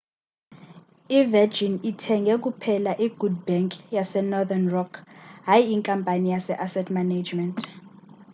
i-virgin ithenge kuphela i'good bank' yasenorthern rock hayi inkampani ye-asset management